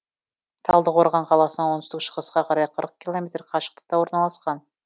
талдықорған қаласынан оңтүстік шығысқа қарай қырық километр қашықтықта орналасқан